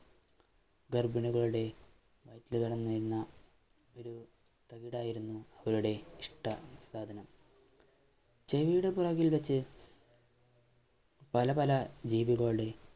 ഗർഭിണികളുടെ വയറ്റിൽ വളർന്നിരുന്ന ഒരു തകിടായിരുന്നു ഇഷ്ട്ട സാധനം ചീവീട് ഇൽ വെച്ച് പലപല ജീവികളുടെ